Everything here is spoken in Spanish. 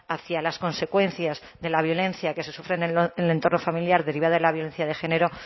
hacia las consecuencias de la violencia que se sufren en el entorno familiar derivada de la violencia de género